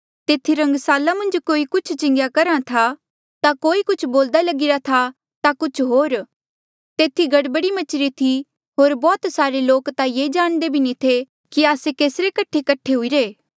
तेथी रंगसाला मन्झ कोई कुछ चिंगेया करहा था ता कोई कुछ बोल्दा लगिरा था ता कुछ होर तेथी गड़बड़ी मचीरी थी होर बौह्त सारे लोक ता ये जाणदे भी नी थे कि आस्से केस रे कठे कठे हुईरे